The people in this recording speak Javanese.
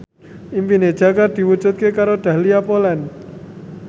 impine Jaka diwujudke karo Dahlia Poland